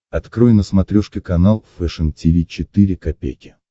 открой на смотрешке канал фэшн ти ви четыре ка